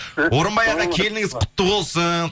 орынбай аға келініңіз құтты болсын